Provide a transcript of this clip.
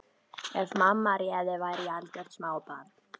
Ef mamma réði væri ég algjört smábarn.